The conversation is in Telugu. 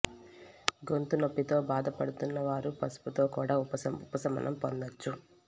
గొంతు నొప్పితో బాధ పడుతున్న వారు పసుపుతో కూడా ఉపశమనం పొందొచ్చు